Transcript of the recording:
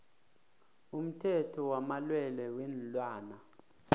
umthetho wamalwelwe weenlwana